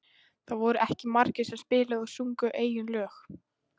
Það voru ekki margir sem spiluðu og sungu eigin lög.